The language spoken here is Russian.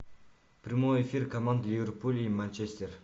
прямой эфир команд ливерпуль и манчестер